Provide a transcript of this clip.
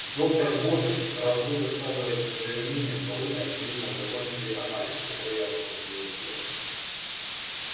доктор богерт раз вы высказываете своё мнение то вы очевидно закончили анализ который я вас просила сделать